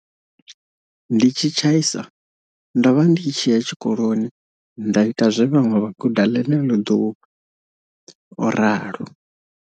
Ndi tshi tshai sa, ndo vha ndi tshi ya tshi koloni nda ita zwe vhaṅwe vha guda ḽeneḽo ḓuvha, o ralo.